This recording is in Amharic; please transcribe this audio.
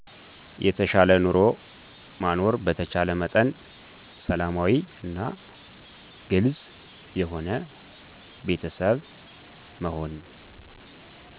የተሻለ ኑሮ ማኖር በተቻለ መጠን ሰላማዊ እና ግልፅ የሆነ ቤተሰብ መሆን